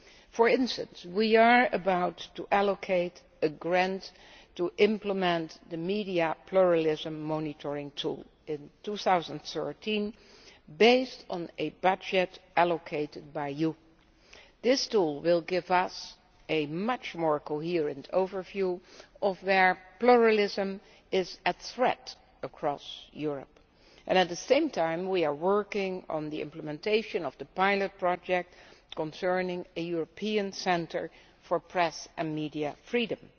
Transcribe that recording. For instance, we are about to allocate a grant to implement the Media Pluralism Monitoring tool in 2013 on the basis of a budget allocated by you. This tool will give us a much more coherent overview of where pluralism is under threat across Europe. At the same time we are working on implementation of a pilot project for a European centre for press and media freedom.